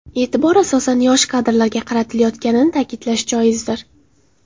E’tibor, asosan, yosh kadrlarga qaratilayotganini ta’kidlash joizdir.